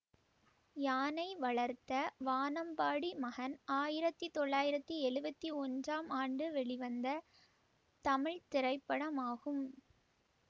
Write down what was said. யானை வளர்த்த வானம்பாடி மகன் ஆயிரத்தி தொள்ளாயிரத்தி எழுவத்தி ஒன்றாம் ஆண்டு வெளிவந்த தமிழ் திரைப்படமாகும்